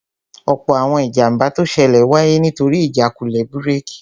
Ọ̀pọ̀ àwọn ìjàmbá tó ṣẹlẹ̀ wáyé nítorí ìjákulẹ̀ búrèkì